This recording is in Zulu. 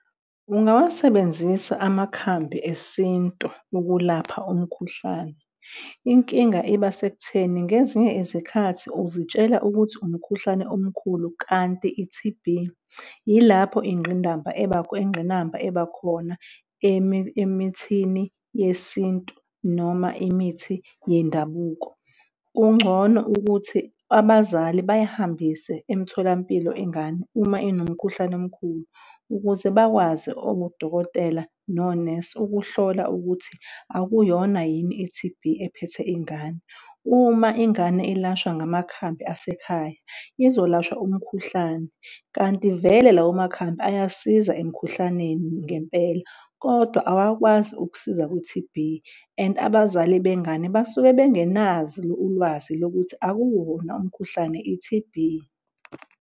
Ungawasebenzisa amakhambi esintu ukulapha umkhuhlane. Inkinga iba sekutheni ngezinye izikhathi uzitshela ukuthi umkhuhlane omkhulu, kanti i-T_B yilapho ingqinamba ebakhona emithini yesintu noma imithi yendabuko. Kungcono ukuthi abazali beyihambise emtholampilo ingane uma inomkhuhlane omkhulu ukuze bakwazi odokotela nonesi ukuhlola ukuthi akuyona yini i-T_B ephethe ingane. Uma ingane ilashwa ngamakhambi asekhaya izolashwa umkhuhlane kanti vele lawo makhambi ayasiza emkhuhlaneni ngempela, kodwa awakwazi ukusiza kwi-T_B and abazali bengane basuke bengenazo ulwazi lokuthi akuwona umkhuhlane, i-T_B.